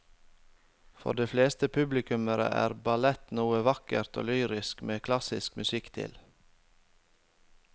For de fleste publikummere er ballett noe vakkert og lyrisk med klassisk musikk til.